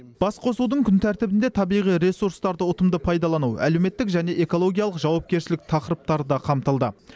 басқосудың күн тәртібінде табиғи ресурстарды ұтымды пайдалану әлеуметтік және экологиялық жауапкершілік тақырыптары да қамтылды